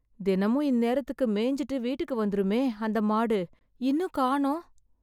தினமும் இந்நேரத்துக்கு மேஞ்சுட்டு வீட்டுக்கு வந்துருமே, அந்த மாடு, இன்னும் காணோம்?